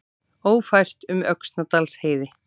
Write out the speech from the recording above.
Ófært um Öxnadalsheiði